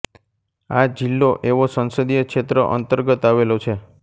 આ જિલ્લો ઐવો સંસદીય ક્ષેત્ર અંતર્ગત આવેલો છે